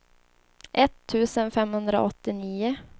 etttusen femhundraåttionio